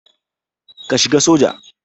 Ka shiga soja.